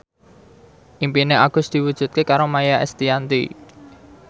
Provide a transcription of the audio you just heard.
impine Agus diwujudke karo Maia Estianty